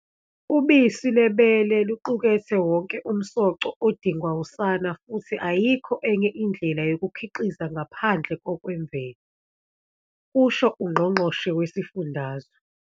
"Ubisi lwebele luqukethe wonke umsoco odingwa usana futhi ayikho enye indlela yokulukhiqiza ngaphandle kokwemvelo," kusho uNgqo ngqoshe Wesifundazwe.